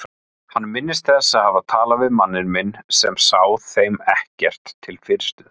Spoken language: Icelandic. Hann minnist þess að hafa talað við manninn minn sem sá þeim ekkert til fyrirstöðu.